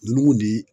N'i y'u ni